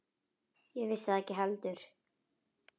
Ég vissi það ekki heldur.